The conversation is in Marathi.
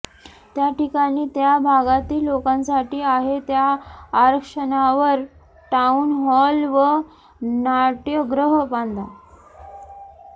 त्याठिकाणी त्या भागातील लोकांसाठी आहे त्या आरक्षणावर टाऊन हॉल व नाट्यगृह बांधा